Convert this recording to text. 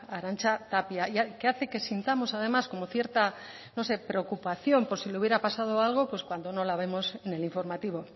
arantxa tapia que hace que sintamos además como cierta no sé preocupación por si le hubiera pasado algo pues cuando no la vemos en el informativo